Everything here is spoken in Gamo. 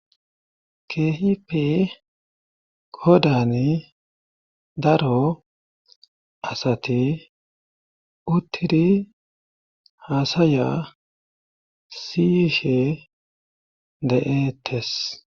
keehipe kodani daro asati uttiri haasaya siyishe de7eetes